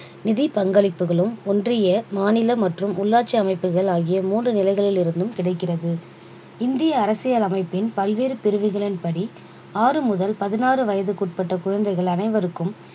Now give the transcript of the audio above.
நிதி பங்களிப்புகளும் ஒன்றிய மாநில மற்றும் உள்ளாட்சி அமைப்புகள் ஆகிய மூன்று நிலைகளில் இருந்தும் கிடக்கிறது இந்திய அரசியலமைப்பின் பல்வேறு பிரிவுகளின்படி ஆறு முதல் பதினாறு வயசுக்குட்பட்ட குழந்தைகள் அனைவருக்கும்